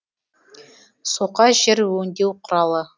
соқа жер өңдеу құралы